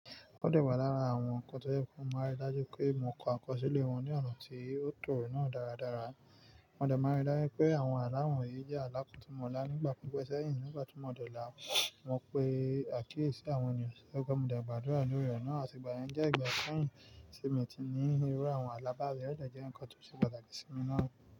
O dẹ̀ wà lára àwọn nǹkan tó jẹ́ pe mo máa n rí i dájú pé mò kọ àkọsílẹ̀ wọn ní ọ̀nà tí ó tọ̀ náà dáradára. Mo dẹ̀ máa n rí i dájú pé àwọn alá wọ̀yìí jẹ́ alá kò n ti mọ̀ lá nígbà pipe sẹ́yìn nígbà tí mo dẹ̀ lá á. Mo pe àkíyèsí àwọn ènìyàn sì ẹgbè, mo dẹ̀ gbàdúrà lórí re nà àtìgbàyẹn jẹ́ ìgbà sẹ́yìn tí mo ti ní irú àwọn alábàá èyí, ó dẹ̀ jẹ́ nǹkan tó ṣẹ̀ṣẹ̀ pàtàkì sí mi náà.